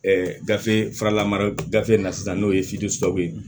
gafe faralamara gafe in na sisan n'o ye ye